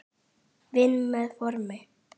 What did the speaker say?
Vinn með formin.